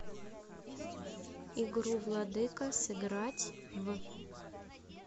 игру владыка сыграть в